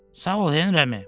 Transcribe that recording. Sağ ol, Henri əmi.